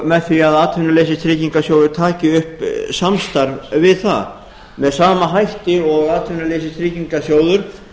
með því að atvinnuleysistryggingasjóður taki upp samstarf við það með sama hætti og atvinnuleysistryggingasjóður